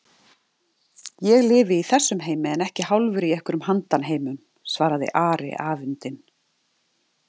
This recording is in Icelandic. Ég lifi í þessum heimi en ekki hálfur í einhverjum handan-heimum, svaraði Ari afundinn.